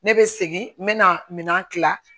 Ne bɛ segin n bɛ na minɛn tila